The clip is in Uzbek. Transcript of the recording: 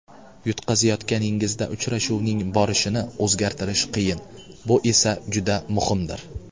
Yutqazayotganingizda uchrashuvning borishini o‘zgartirish qiyin, bu esa juda muhimdir.